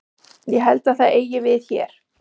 Ég held að það eigi við hér.